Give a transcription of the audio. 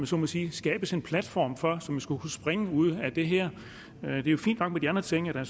så må sige skabes en platform for og som skulle kunne springe ud af det her det er jo fint nok med de andre ting